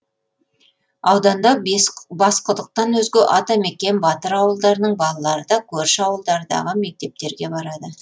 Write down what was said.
ауданда басқұдықтан өзге атамекен батыр ауылдарының балалары да көрші ауылдардағы мектептерге барады